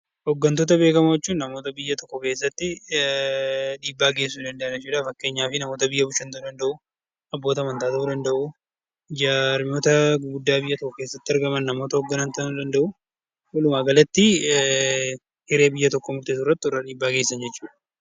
Hoggantoota beekamoo jechuun namoota biyya tokko keessatti dhiibbaa geessisuu danda'an jechuudha. Fakkeenyaaf namoota biyya bulchan, abboota amantaa, jaarmiyoota gurguddaa biyya tokko keessatti argaman namoota hogganan ta'uu danda'u. Walumaa galatti, hiree biyya tokkoo murteessuu irratti warra dhiibbaa geessisan jechuudha.